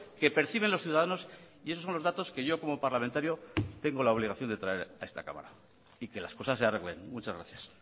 que perciben los ciudadanos y esos son los datos que yo como parlamentario tengo la obligación de traer a esta cámara y que las cosas se arreglen muchas gracias